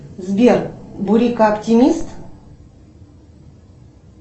сбер бурика оптимист